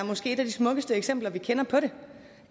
et af de smukkeste eksempler vi kender på